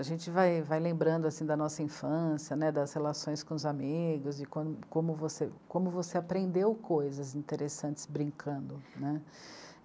A gente vai, vai lembrando da nossa infância né, das relações com os amigos e como, como você aprendeu coisas interessantes brincando né?